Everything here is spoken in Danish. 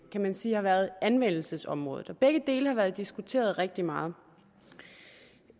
man sige har været anmeldelsesområdet og begge dele har været diskuteret rigtig meget